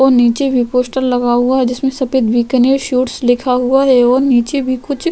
और निचे भी पोस्टर लगा हुआ है जिसमे सफ़ेद बीकानेर स्वीट्स लिखा हुआ है और निचे भी कुछ --